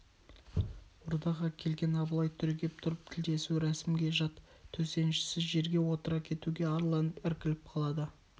ордаға келген абылай түрегеп тұрып тілдесу рәсімге жат төсеншісіз жерге отыра кетуге арланып іркіліп қалады